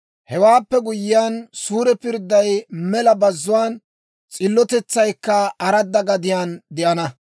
Hewaappe guyyiyaan, suure pirdday mela bazzuwaan, s'illotetsaykka aradda gadiyaan de'ana.